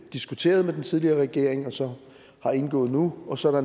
diskuterede med den tidligere regering og så har indgået nu og så er